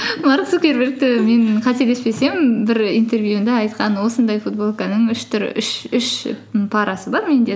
марк цукербергті мен қателеспесем бір интервьюінде айтқан осындай футболканың үш парасы бар менде